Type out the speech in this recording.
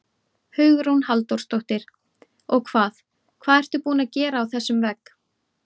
Hugrún Halldórsdóttir: Og hvað, hvað ertu búin að gera á þessum vegg?